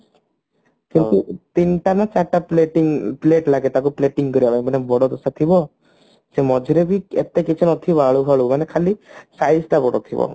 କିନ୍ତୁ ତିନିଟା ନା ଚାରିଟା plating plate ଲାଗେ ତାକୁ plating କରିବା ପାଇଁ ମାନେ ବଡ ଦୋସା ଥିବ ସେ ମଝିରେ ବି ଏତେ କିଛି ନଥିବ ଆଳୁ ଫାଳୁ ମାନେ ଖାଲି size ତ ବଡ ଥିବ